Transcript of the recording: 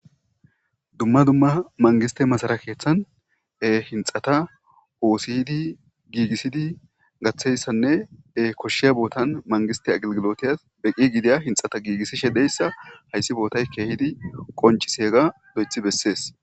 Dumma dumma mangiste masara keeththan e hinxata oosihdi giigissidi gaththeyssannee koshshiya bootan mangiste agilgilotiyas beqqi gidiya hinxata giigissishe deyssa hayssi bootay keehidi qonciseega do'ethi bessees.